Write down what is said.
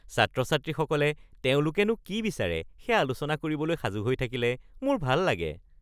ছাত্ৰ-ছাত্ৰীসকলে তেওঁলোকেনো কি বিচাৰে সেয়া আলোচনা কৰিবলৈ সাজু হৈ থাকিলে মোৰ ভাল লাগে (ফিটনেছ ট্ৰেইনাৰ)